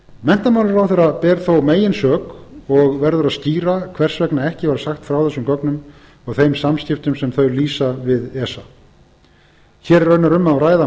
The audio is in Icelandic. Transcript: menntamálaráðherra ber þó meginsök og verður að skýra hvers vegna ekki var sagt frá þessum gögnum og þeim samskiptum sem þau lýsa við esa hér er raunar um að ræða